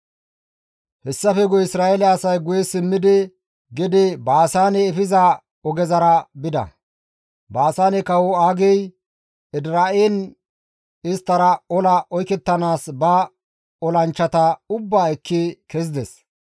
Hessafe guye Isra7eele asay guye simmidi gede Baasaane efiza ogezara bida; Baasaane kawo Aagey Edira7en isttara ola oykettanaas ba olanchchata ubbaa ekki kezides.